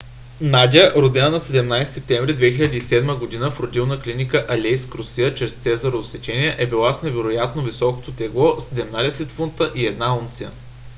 надя родена на 17 септември 2007 г. в родилна клиника в алейск русия чрез цезарово сечение е била с невероятно високото тегло 17 фунта и 1 унция